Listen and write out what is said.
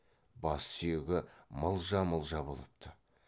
бас сүйегі мылжа мылжа болыпты